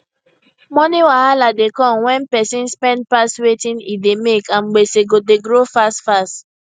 money wahala dey come when person spend pass wetin e dey make and gbese go dey grow fast fast